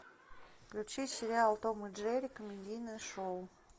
включи сериал том и джерри комедийное шоу